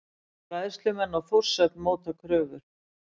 Bræðslumenn á Þórshöfn móta kröfur